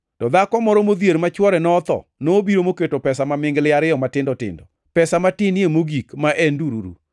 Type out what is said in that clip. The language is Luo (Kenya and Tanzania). To dhako moro modhier ma chwore notho nobiro moketo pesa mamingli ariyo matindo tindo, pesa matinie mogik ma en ndururu.